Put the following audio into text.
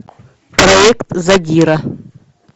проект задира